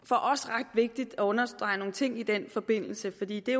for os ret vigtigt at understrege nogle ting i den forbindelse fordi det